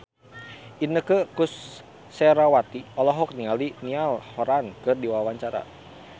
Inneke Koesherawati olohok ningali Niall Horran keur diwawancara